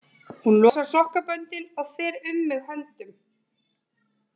Hún losar sokkaböndin og fer um mig höndum.